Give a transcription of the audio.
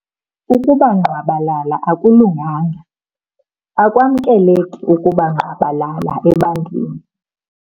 Ukuba ngqwabalala akulunganga. Akwamkeleki ukuba ngqwabalala ebantwaneni.